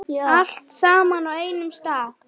Allt saman á einum stað.